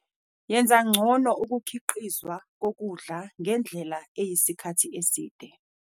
Yenza ngcono ukukhiqizwa kokudla ngendlela eyisikhathi eside.